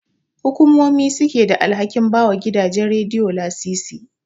Hukumomi suke da alhakin bawa gidajen Radiyo lasisi.